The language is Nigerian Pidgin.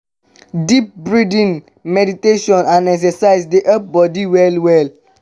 deep breathing meditation and exercise dey help body well well.